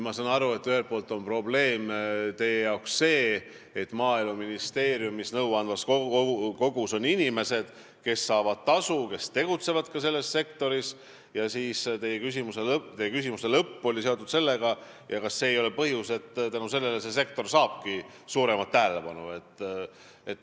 Ma saan aru, et ühelt poolt on teie jaoks probleem see, et Maaeluministeeriumi nõuandvas kojas on inimesed, kes saavad tasu ja kes tegutsevad selles sektoris, ning teie küsimuse lõpp oli see, et kas see ei ole põhjus, miks see sektor saabki suuremat tähelepanu.